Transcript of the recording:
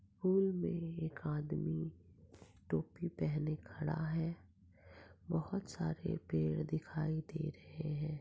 एक आदमी टोपी पहने खड़ा है बहुत सारे पेड़ दिखाई दे रहे है।